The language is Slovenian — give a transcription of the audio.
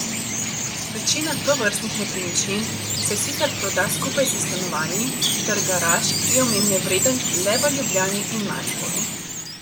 Večina tovrstnih nepremičnin se sicer proda skupaj s stanovanji, trg garaž je omembe vreden le v Ljubljani in Mariboru.